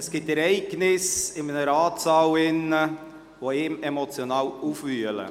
Es gibt Ereignisse in einem Ratssaal, die emotional aufwühlen.